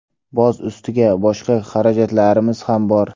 Boz ustiga, boshqa xarajatlarimiz ham bor.